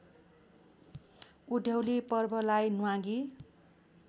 उधौली पर्वलाई न्वागी